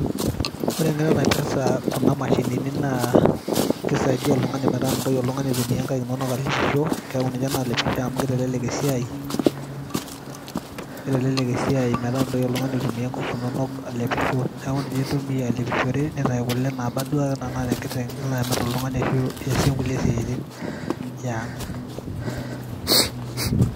Ore entoki naisaidia Kuna mashinini na kisaidia oltungani metaa mintoki oltungani aitumia nkaik inonok oleng . Keaku ninye nalepisho amu kitelelek esiaai metaa mintoki oltungani aitumia ngufu inonok niaku ninye intumia alepishore nitau kule nabaa anaa naata enkiteng nilo amir ashu iasie inkulie siatin eang.